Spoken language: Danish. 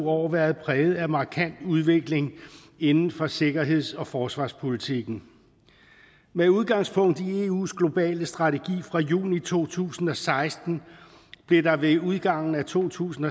år været præget af markant udvikling inden for sikkerheds og forsvarspolitikken med udgangspunkt i eus globale strategi fra juni to tusind og seksten blev der ved udgangen af to tusind